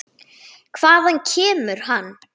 Hvaðan kemur hann?